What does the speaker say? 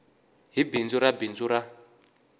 hi bindzu ra bindzu ra